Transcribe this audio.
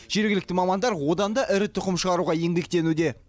жергілікті мамандар одан да ірі тұқым шығаруға еңбектенуде